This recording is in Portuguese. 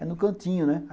É no cantinho, né?